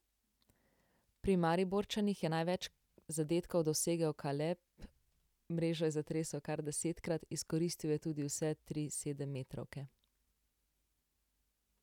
Pri Mariborčanih je največ zadetkov dosegel Kaleb, mrežo je zatresel kar desetkrat, izkoristil je tudi vse tri sedemmetrovke.